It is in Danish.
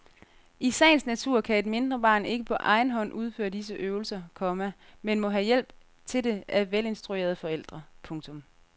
I sagens natur kan et mindre barn ikke på egen hånd udføre disse øvelser, komma men må have hjælp til det af velinstruerede forældre. punktum